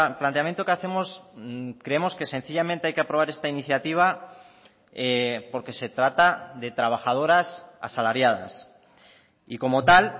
planteamiento que hacemos creemos que sencillamente hay que aprobar esta iniciativa porque se trata de trabajadoras asalariadas y como tal